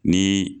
Ni